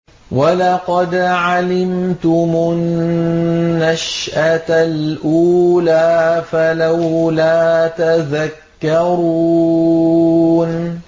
وَلَقَدْ عَلِمْتُمُ النَّشْأَةَ الْأُولَىٰ فَلَوْلَا تَذَكَّرُونَ